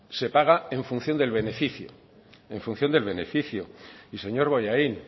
se paga en función del beneficio en función del beneficio y señor bollain